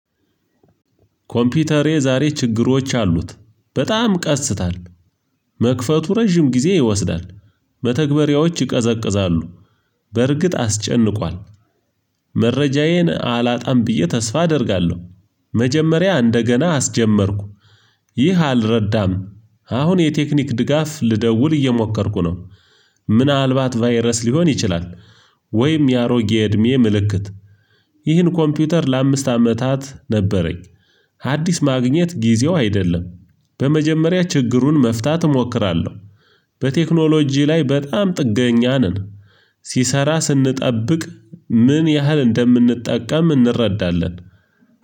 ኮምፒውተሬ ዛሬ ችግሮች አሉት። በጣም ቀስታል። መክፈቱ ረጅም ጊዜ ይወስዳል። መተግባርያዎች ይቀዘቅዛሉ። በርግጥ አስጨንቋል። መረጃዬን አላጣም ብዬ ተስፋ አደርጋለሁ። መጀመሪያ እንደገና አስጀመርኩ። ይህ አልረዳም። አሁን የቴክኒክ ድጋፍ ልደውል እየሞከርኩ ነው። ምናልባት ቫይረስ ሊሆን ይችላል። ወይም የአሮጌ እድሜ ምልክት። ይህን ኮምፒውተር ለአምስት አመታት ነበረኝ። አዲስ ማግኘት ጊዜው አይደለም። በመጀመሪያ ችግሩን መፍታት እሞክራለሁ። በቴክኖሎጂ ላይ በጣም ጥገኛ ነን። ሲሰራ ስንጠብቅ ምን ያህል እንደምንጠቀም እንረዳለን?